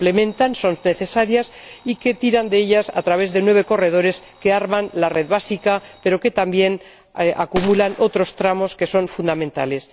Ambas se complementan, son necesarias y se articulan a través de nueve corredores que arman la red básica, aunque también acumulan otros tramos que son fundamentales.